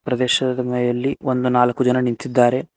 ಪ್ರದೇಶದ ಮೇಲೆ ಒಂದು ನಾಲ್ಕು ಜನ ನಿಂತಿದ್ದಾರೆ.